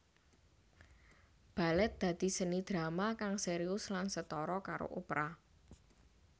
Balèt dadi seni drama kang sérius lan setara karo opera